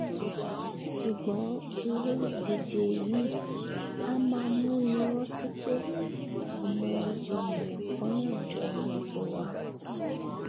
sùgbọn irú ìdíje yìí a máa múni rántí pé ọmọ ènìà kannáà jọ ni gbogbo wa